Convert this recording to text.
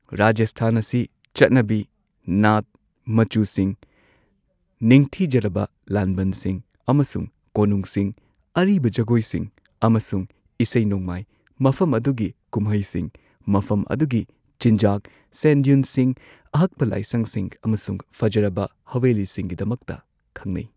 ꯔꯥꯖꯁꯊꯥꯟ ꯑꯁꯤ ꯆꯠꯅꯕꯤ, ꯅꯥꯠ, ꯃꯆꯨꯁꯤꯡ, ꯅꯤꯡꯊꯤꯖꯔꯕ ꯂꯥꯟꯕꯟꯁꯤꯡ, ꯑꯃꯁꯨꯡ ꯀꯣꯅꯨꯡꯁꯤꯡ, ꯑꯔꯤꯕ ꯖꯒꯣꯏꯁꯤꯡ ꯑꯃꯁꯨꯡ ꯏꯁꯩ ꯅꯣꯡꯃꯥꯏ, ꯃꯐꯝ ꯑꯗꯨꯒꯤ ꯀꯨꯝꯍꯩꯁꯤꯡ, ꯃꯐꯝ ꯑꯗꯨꯒꯤ ꯆꯤꯟꯖꯥꯛ, ꯁꯦꯟ ꯗ꯭ꯌꯨꯟꯁꯤꯡ, ꯑꯍꯛꯄ ꯂꯥꯏꯁꯪꯁꯤꯡ ꯑꯃꯁꯨꯡ ꯐꯖꯔꯕ ꯍꯚꯦꯂꯤꯁꯤꯡꯒꯤꯗꯃꯛꯇ ꯈꯪꯅꯩ꯫